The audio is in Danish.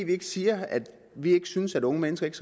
vi siger at vi ikke synes at unge mennesker ikke